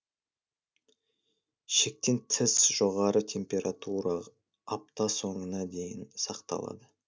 шектен тыс жоғары температура апта соңына дейін сақталады